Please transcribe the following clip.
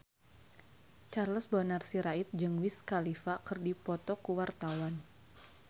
Charles Bonar Sirait jeung Wiz Khalifa keur dipoto ku wartawan